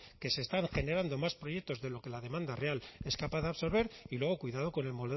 que se están generando más proyectos de lo que la demanda real es capaz de absorber y luego cuidado con el